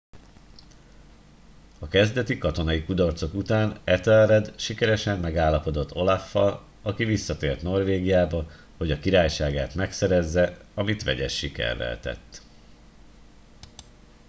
a kezdeti katonai kudarcok után ethelred sikeresen megállapodott olaf al aki visszatért norvégiába hogy a királyságát megszerezze amit vegyes sikerrel tett